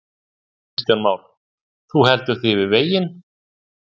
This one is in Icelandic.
Kristján Már: Þú heldur þig við veginn?